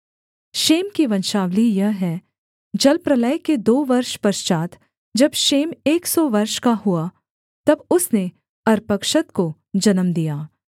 Shem की वंशावली यह है जलप्रलय के दो वर्ष पश्चात् जब शेम एक सौ वर्ष का हुआ तब उसने अर्पक्षद को जन्म दिया